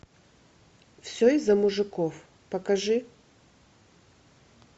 все из за мужиков покажи